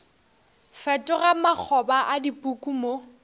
fetoga makgoba a dipuku mo